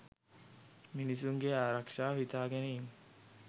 මිනිසුන්ගේ ආරක්ෂාව හිතාගෙන ඉන්නෙ